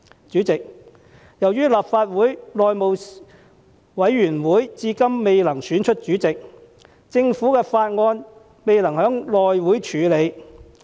主席，由於立法會內務委員會至今未能選出主席，而致政府法案未能獲內務委員會處理。